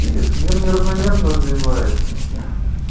видишь мир неравномерно развивается